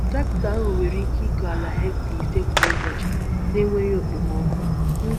Traktọ ahụ nwere ike ịkọ ala hekta ise kwa ụbọchị na-enweghị okpomọkụ.